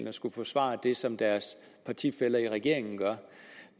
at skulle forsvare det som deres partifæller i regeringen gør